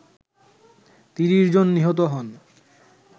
৩০ জন নিহত হন